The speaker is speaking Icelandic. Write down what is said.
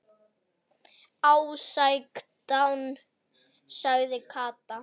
Sextán sagði Kata.